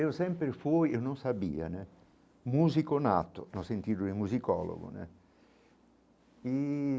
Eu sempre fui, eu não sabia né, músico nato, no sentido de musicólogo né e.